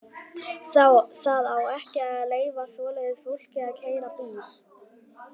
Það á ekki að leyfa svoleiðis fólki að keyra bíl!